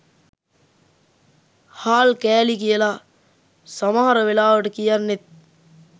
හාල් කෑලි කියල සමහර වෙලාවට කියන්නෙත්